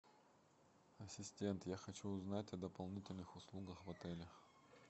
ассистент я хочу узнать о дополнительных услугах в отеле